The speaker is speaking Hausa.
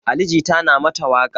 Ali jita na mata waƙa